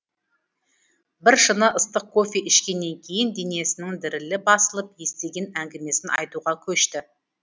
біршыны ыстық кофе ішкеннен кейін денесінің дірілі басылып естіген әңгімесін айтуға көшті